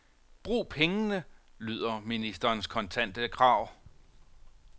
Brug pengene, lyder ministerens kontante krav.